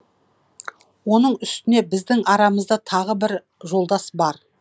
оның үстіне біздің арамызда тағы бір жолдас бар